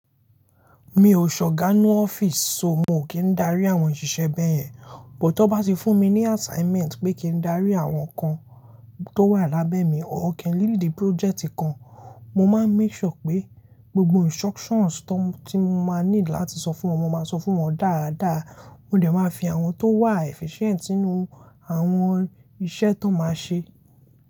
Mi ò ṣọ̀ ọ̀gá ní ọ́fíìsì, so mo kí n darí àwọn òṣìṣẹ́ bẹ́ẹ̀ yẹn. Bùt tó bá ti fún mi ní assignment pé kí n darí àwọn kan tó wà lábẹ́ mi or kí n li di project kan, mo máa ń make sure pé gbogbo instructions tó, tí mo máa needu láti sọ fún wọn, mo máa sọ fún wọn dáadáa. Ó dẹ̀ máa fi àwọn tó wà efficient sínú àwọn iṣẹ́ tó máa ṣe.